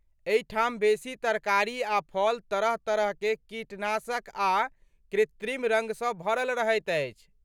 एहिठाम बेसी तरकारी आ फल तरह तरहकेँ कीटनाशक आ कृत्रिम रङ्ग सँ भरल रहैत अछि।